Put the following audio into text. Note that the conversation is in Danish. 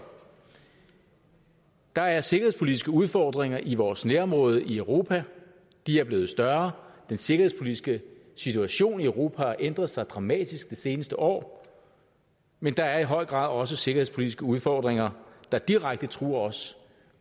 der er sikkerhedspolitiske udfordringer i vores nærområde i europa de er blevet større den sikkerhedspolitiske situation i europa har ændret sig dramatisk det seneste år men der er i høj grad også sikkerhedspolitiske udfordringer der direkte truer os